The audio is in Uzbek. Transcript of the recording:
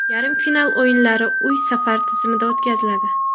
Yarim final o‘yinlari uy-safar tizimida o‘tkaziladi.